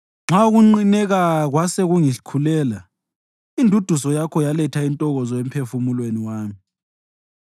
Nxa ukunqineka kwase kungikhulela, induduzo yakho yaletha intokozo emphefumulweni wami.